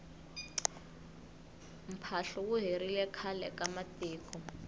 mphahlu wu herile khale ka matiko